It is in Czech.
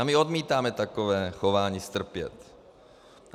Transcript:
A my odmítáme takové chování strpět.